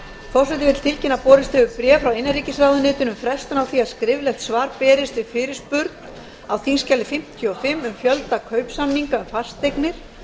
forseti vill tilkynna að borist hefur bréf frá innanríkisráðuneytinu um frestun á því að skriflegt svar berist við fyrirspurn á þingskjali fimmtíu og fimm um fjölda kaupsamninga um fasteignir